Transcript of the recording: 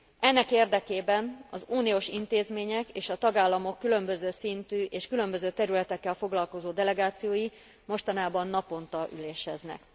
Ennek érdekében az uniós intézmények és a tagállamok különböző szintű és különböző területekkel foglalkozó delegációi mostanában naponta üléseznek.